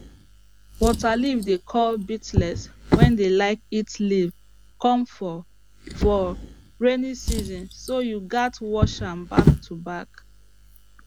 waterleaf dey call beetles wey dey like eat leaf come for for raining season so you gats watch am back to back